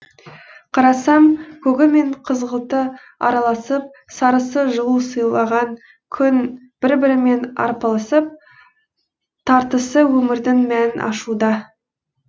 қарасам көгі мен қызғылты араласып сарысы жылу сыйлаған күн бір бірімен арпалысып тартысы өмірдің мәнін ашуда